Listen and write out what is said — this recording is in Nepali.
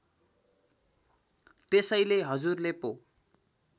त्यसैले हजुरले पो